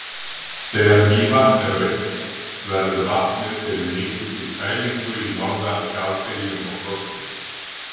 Þegar Mývatn er autt, verður vatnið fyrir mikilli kælingu í norðan skafbyljum og frosti.